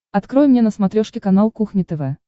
открой мне на смотрешке канал кухня тв